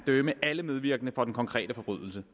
dømme alle medvirkende for den konkrete forbrydelse